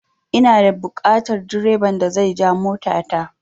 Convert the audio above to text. Ina da buƙatan direban da zai ja mota ta